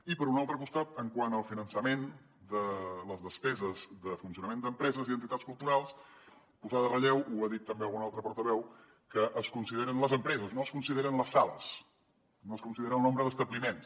i per un altre costat quant al finançament de les despeses de funcionament d’empreses i entitats culturals posar de relleu ho ha dit també algun altre portaveu que es consideren les empreses no es consideren les sales no es considera el nombre d’establiments